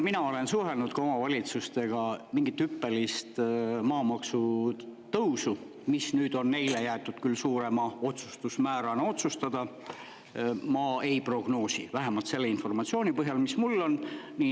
Mina olen ka omavalitsustega suhelnud ja mingit hüppelist maamaksu tõusu, kuigi nüüd on neile jäetud küll suurem otsustusmäär, ma ei prognoosi – vähemalt selle informatsiooni põhjal, mis mul on.